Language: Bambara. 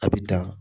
A bi dan